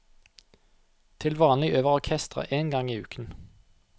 Til vanlig øver orkesteret én gang i uken.